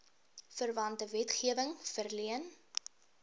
verwante wetgewing verleen